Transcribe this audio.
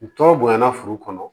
Tɔ bonya na furu kɔnɔ